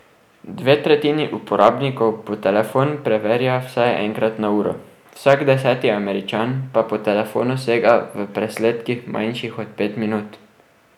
Dve tretjini uporabnikov po telefon preverja vsaj enkrat na uro, vsak deseti Američan pa po telefonu sega v presledkih manjših od pet minut.